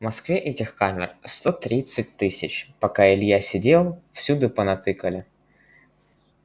в москве этих камер сто тридцать тысяч пока илья сидел всюду понатыкали